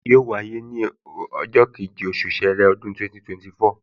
Yóò wáyé ní ọjọ́ kejì, oṣù ṣẹẹrẹ, ọdún 2024